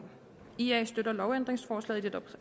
ia støtter lovændringsforslaget